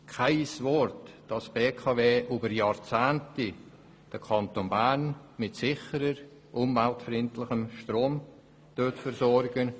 Kein Wort wurde darüber verloren, dass die BKW den Kanton Bern seit Jahrzehnten mit sicherem, umweltfreundlichem Strom versorgt.